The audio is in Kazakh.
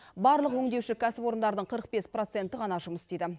барлық өңдеуші кәсіпорындардың қырық бес проценті ғана жұмыс істейді